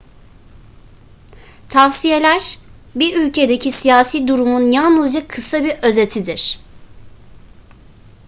tavsiyeler bir ülkedeki siyasi durumun yalnızca kısa bir özetidir